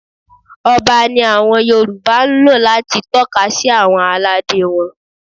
Ọba ni àwọn Yorùbá ń lò láti tọ́ka sí àwọn aládé wọn.